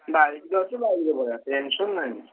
bike ତ ଅଛି bike ରେ ପଳେଇଆ tension ନାହିଁ।